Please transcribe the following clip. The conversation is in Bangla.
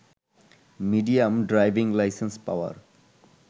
medium driving licence power